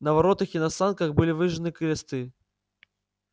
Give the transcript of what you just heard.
на воротах и на санках были выжжены кресты